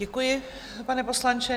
Děkuji, pane poslanče.